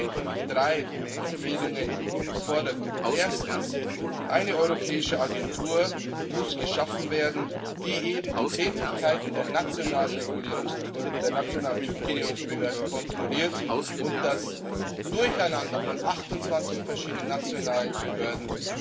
Deshalb stehen für mich drei Empfehlungen im Vordergrund Erstens muss eine europäische Agentur geschaffen werden, die eben die Tätigkeiten der nationalen Typgenehmigungsbehörden kontrolliert und das Durcheinander von 28 verschiedenen nationalen Behörden